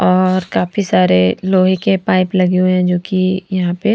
और काफी सारे लोहे के पाइप लगे हुए हैं जो कि यहाँं पे --